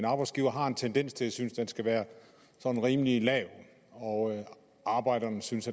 en arbejdsgiver har en tendens til at synes at den skal være sådan rimelig lav og arbejderen synes